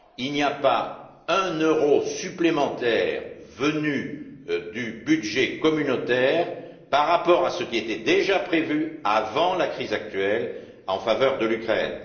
Il n'y a pas un euro supplémentaire venu du budget communautaire par rapport à ce qui était déjà prévu avant la crise actuelle en faveur de l'Ukraine.